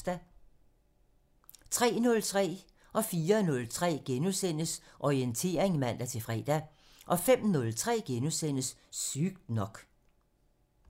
03:03: Orientering *(man-fre) 04:03: Orientering *(man-fre) 05:03: Sygt nok (Afs. 39)*